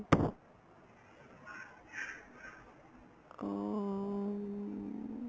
ਹਮ